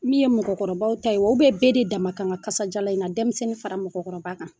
Min ye mɔgɔkɔrɔbaw ta ye o bɛɛ bɛɛ de dama kan ka kasajalan in na denmisɛnnin fara mɔgɔkɔrɔba kan